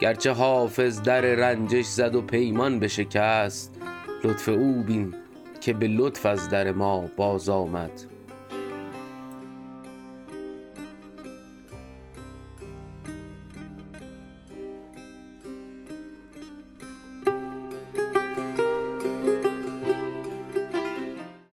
گرچه حافظ در رنجش زد و پیمان بشکست لطف او بین که به لطف از در ما بازآمد